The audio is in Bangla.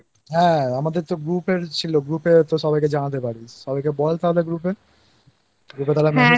হ্যাঁ আমাদের তো Group এর ছিলো Group এর সবাইকে জানাতে পারি সবাই কে বল তাহলে Group এI